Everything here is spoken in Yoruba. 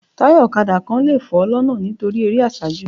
Taya ọ̀kadà kan lè fọ́ lọ́nà nítorí eré àsájù